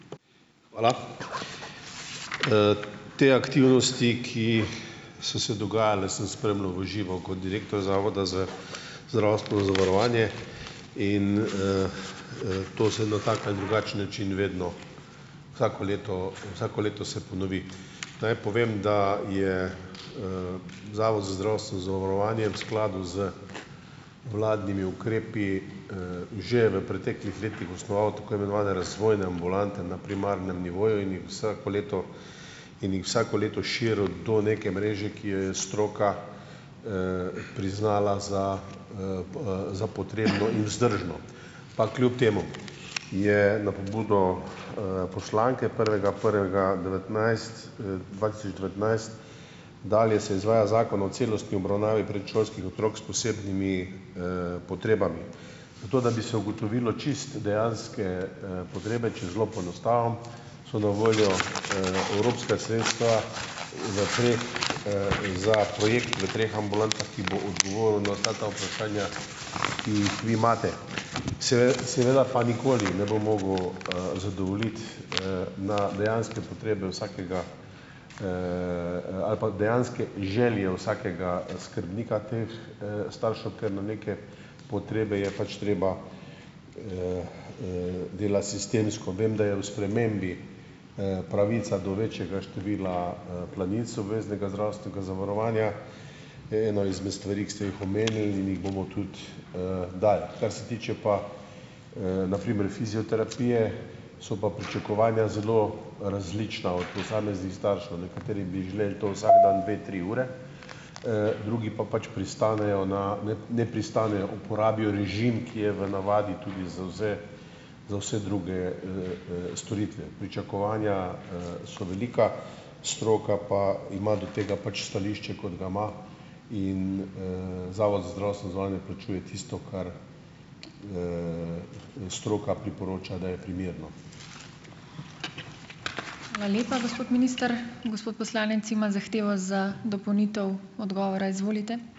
Hvala. Te aktivnosti, ki so se dogajale, sem spremljal v živo kot direktor Zavoda za zdravstveno zavarovanje. In, to se na tak ali drugačen način vedno vsako leto vsako leto se ponovi. Naj povem, da je, Zavod za zdravstveno zavarovanje v skladu z vladnimi ukrepi, že v preteklih letih osnoval tako imenovane razvojne ambulante na primarnem nivoju in jih vsako leto in jih vsako leto širil do neke mreže, ki jo je stroka, priznala za, za potrebno in vzdržno. Pa kljub temu je na pobudo, poslanke prvega prvega devetnajst, dva tisoč devetnajst dalje se izvaja Zakon o celostni obravnavi predšolskih otrok s posebnimi, potrebami. Za to, da bi se ugotovilo čisto dejanske, potrebe, če zelo poenostavim, so na voljo, evropska sredstva za projekt, za projekt v treh ambulantah, ki bo odgovoril na vsa ta vprašanja, ki jih vi imate. seveda pa nikoli ne bom mogel, zadovoljiti, na dejanske potrebe vsakega, ali pa dejanske želje vsakega skrbnika teh, staršev, ker na neke potrebe je pač treba, delati sistemsko. Vem, da je v spremembi, pravica do večjega števila, planincev obveznega zdravstvenega zavarovanja eno izmed stvari, ki ste jih omenili in jih bomo tudi, dali. Kar se tiče pa, na primer fizioterapije, so pa pričakovanja zelo različna od posameznih staršev. Nekateri bi želeli to vsak dan dve, tri ure, drugi pa pač pristanejo na ne pristanejo, uporabijo režim, ki je v navadi tudi za vse, za vse druge, storitve. Pričakovanja, so velika, stroka pa ima do tega pač stališče, kot ga ima. In, Zavod za zdravstveno zavarovanje plačuje tisto, kar, stroka priporoča, da je primerno.